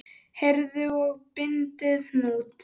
Herðið að og bindið hnút.